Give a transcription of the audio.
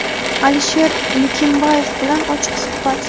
Alisher Nikimbaev bilan ochiq suhbat.